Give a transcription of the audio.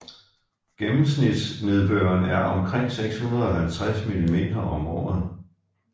Gennemsnits nedbøren er omkring 650 mm om året